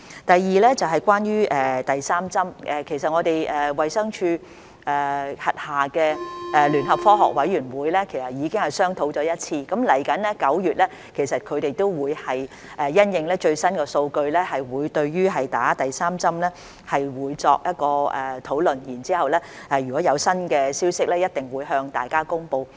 第二，關於第三劑，其實我們衞生署轄下的聯合科學委員會已經商討了一次，接着9月也會因應最新的數據，就注射第三劑疫苗進行討論，之後如果有新消息，一定會向大家公布。